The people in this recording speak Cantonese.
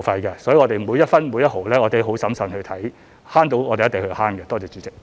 由此可見，每一分、每一毫，我們也很審慎地看，可以節省的，我們一定會節省。